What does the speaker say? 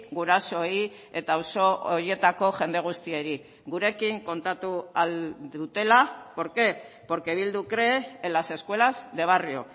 gurasoei eta auzo horietako jende guztiei gurekin kontatu ahal dutela por qué porque bildu cree en las escuelas de barrio